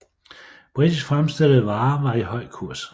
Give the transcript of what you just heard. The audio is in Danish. Britisk fremstillede varer var i høj kurs